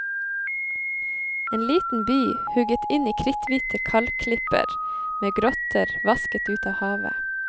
En liten by hugget inn i kritthvite kalkklipper, med grotter vasket ut av havet.